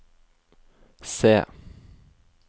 se